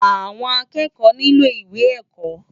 Awòn ákèékò nilò iwé èkò